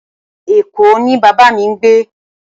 Eko ni baba mi ngbe